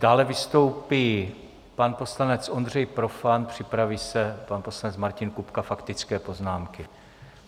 Dále vystoupí pan poslanec Ondřej Profant, připraví se pan poslanec Martin Kupka - faktické poznámky.